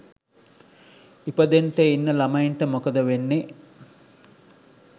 ඉපදෙන්ට ඉන්න ලමයින්ට මොකද වෙන්නේ?